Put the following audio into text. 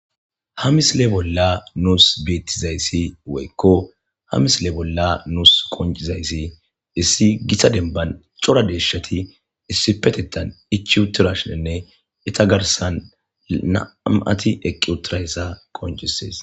ha misile bolla nuus beettizayssi woykko hamisile bolla nuus koncizayssi issi gitta denban cora deeshshati issipetettan ichi utirashinenne ita garsan nam7ati eqqi utirayssa qoncisees